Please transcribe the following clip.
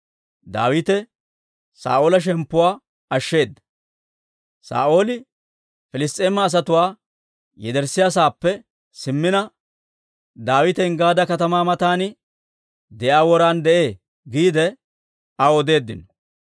Saa'ooli Piliss's'eema asatuwaa yederssiyaa saappe simmina, «Daawite Enggaada katamaa matan de'iyaa woran de'ee» giide aw odeeddino.